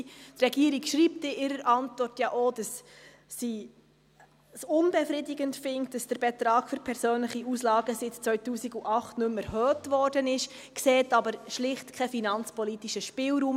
Die Regierung schreibt in ihrer Antwort ja auch, dass sie es unbefriedigend findet, dass der Betrag für persönliche Auslagen seit 2008 nicht mehr erhöht wurde, sieht aber schlicht keinen finanzpolitischen Spielraum.